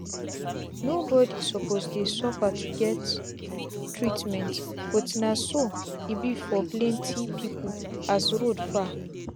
no bodi suppose dey sufa to get treatment but na so e be for plenti pipu as road far